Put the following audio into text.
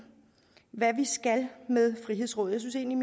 hvad vi skal med frihedsrådet jeg synes egentlig